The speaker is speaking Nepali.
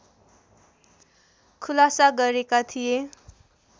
खुलासा गरेका थिए